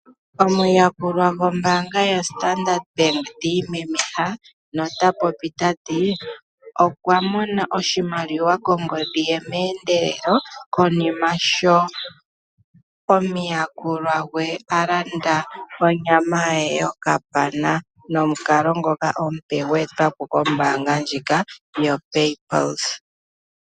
Omuyakulwa gwombaanganga ndjika yoStandard Bank ti imemeha no ta popi tati, okwa mona oshimaliwa kongodhi ye meendelelo konima sho omuyakulwa gwe a landa onyama ye yokapana nomukalo ngoka gwe etwapo kombaanga ndjika yoPayPulse.